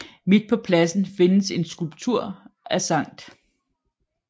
Midt på pladsen findes en skulptur af Skt